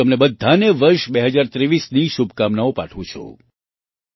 હું તમને બધાને વર્ષ 2023ની શુભકામનાઓ પાઠવું છું